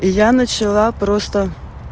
и я начала просто